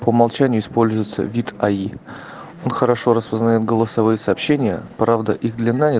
по умолчанию используется вид аи он хорошо распознает голосовые сообщения правда их длина